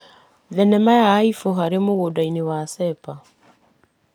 Thinema ya Aĩbu harĩ mũgũnda cepa.